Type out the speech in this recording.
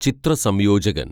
ചിത്ര സംയോജകന്‍